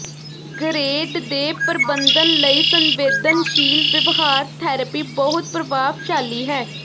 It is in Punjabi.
ਗਰੇਡ ਦੇ ਪ੍ਰਬੰਧਨ ਲਈ ਸੰਵੇਦਨਸ਼ੀਲ ਵਿਵਹਾਰ ਥੈਰੇਪੀ ਬਹੁਤ ਪ੍ਰਭਾਵਸ਼ਾਲੀ ਹੈ